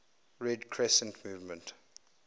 red crescent movement